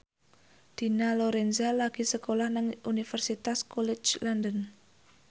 Dina Lorenza lagi sekolah nang Universitas College London